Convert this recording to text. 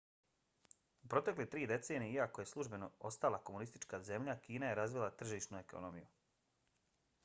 u protekle tri decenije iako je službeno ostala komunistička zemlja kina je razvila tržišnu ekonomiju